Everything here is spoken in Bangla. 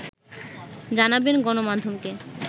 জানাবেন গণমাধ্যমকে